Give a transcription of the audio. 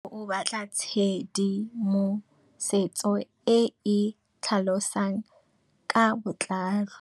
Tlhalefô o batla tshedimosetsô e e tlhalosang ka botlalô.